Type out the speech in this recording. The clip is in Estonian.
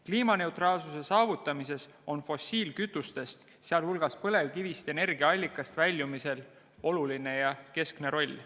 Kliimaneutraalsuse saavutamises on fossiilkütustest, sh põlevkivist energiaallikana loobumisel oluline ja keskne roll.